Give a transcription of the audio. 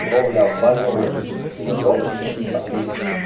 кровля обваливалась не над роботами а тут